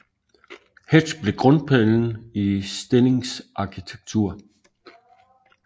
Hetsch blev grundpillen i Stillings arkitektur